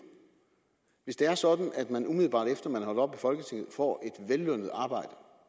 hvis det er sådan at man umiddelbart efter man op i folketinget får et vellønnet arbejde